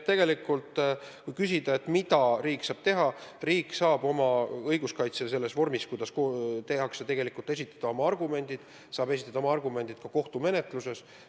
Kui küsida, mida riik saab teha, siis vastan, et riik saab oma õiguskaitse ettenähtud vorme kasutades esitada oma argumendid, ja seda ka kohtumenetluses.